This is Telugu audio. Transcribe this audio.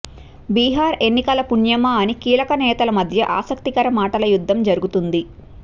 బీహార్ ఎన్నికల పుణ్యమా అని కీలక నేతల మధ్య ఆసక్తికర మాటల యుద్ధం జరుగుతుంది